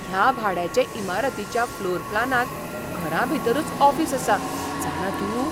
ह्या भाड्याचे इमारतीच्या फ्लोर प्लानांत घरांभितरूच ऑफिस आसा, जाणा तूं?